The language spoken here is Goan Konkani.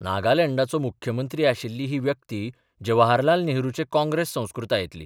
नागालँडाचो मुख्यमंत्री आशिल्ली ही व्यक्ती जवाहरलाल नेहरूचे काँग्रेस संस्कृतायेंतली.